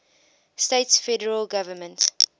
states federal government